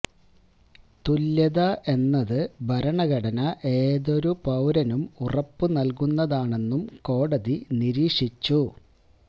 തുല്യത എന്നത് ഭരണഘടന ഏതൊരു പൌരനും ഉറപ്പു നല്കുന്നതാണെന്നും കോടതി നിരീക്ഷിച്ചു